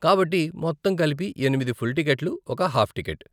కాబట్టి, మొత్తం కలిపి ఎనిమిది ఫుల్ టికెట్లు, ఒక హాఫ్ టికెట్.